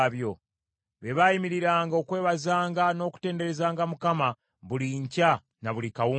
Be baayimiriranga okwebazanga n’okutenderezanga Mukama buli nkya na buli akawungeezi,